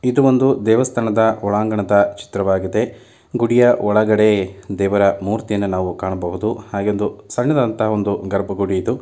ಇದು ಒಂದು ದೇವಸ್ಥಾನದ ಒಳಾಂಗಣದ ಚಿತ್ರವಾಗಿದೆ ಗುಡಿಯ ಒಳಗಡೆ ದೇವರ ಮೂರ್ತಿಯನ್ನು ನಾವು ಕಾಣಬಹುದು ಹಾಗೆ ಒಂದು ಸಣ್ಣದಾದಂತಹ ಒಂದು ಗರ್ಭಗುಡಿ ಇದು.